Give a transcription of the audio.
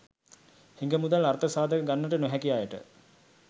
හිඟ මුදල් අර්ථ සාධක ගන්නට නොහැකි අයට